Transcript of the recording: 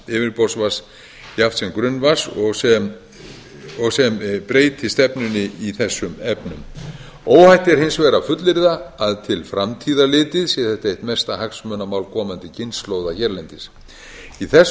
yfirborðsvatns jafnt sem grunnvatns og sem breyti stefnunni í þessum efnum óhætt er hins vegar að fullyrða að til framtíðar litið sé þetta eitt mesta hagsmunamál komandi kynslóða hérlendis í þessu